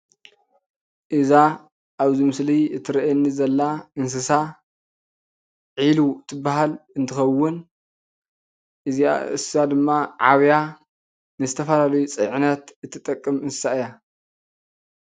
እዛ ኣብዚ ምስሊ ትረኤየኒ ዘላ እንስሳ ዒሉ ትበሃል እንትከውን ንሳ ድማ ዓብያ ንዝተፈላለዩ መፅዐኛ ትጠቅም እንስሳ እያ።